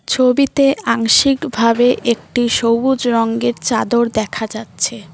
ছবিতে আংশিকভাবে একটি সবুজ রঙ্গের চাদর দেখা যাচ্ছে।